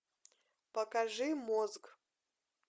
покажи мозг